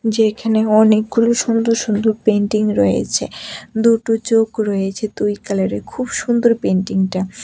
যে এখানে অনেকগুলি সুন্দর সুন্দর পেইন্টিং রয়েছে দুটো চোখ রয়েছে দুই কালারের খুব সুন্দর পেইন্টিংটা।